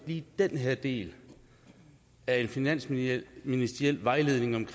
lige den her del af en finansministeriel vejledning